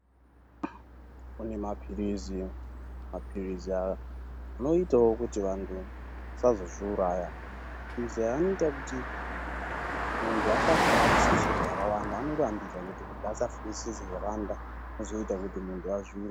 Kune maphirizi. Maphirizi aya noitawo kuti vantu vasazozviuraya. Maphirizi aya anoita kuti muntu asafungisisa zvakawanda, anorambidza kuti muntu asafungisisa zvakawanda zvinozoita kuti muntu azviura.